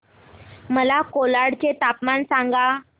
मला कोलाड चे तापमान सांगा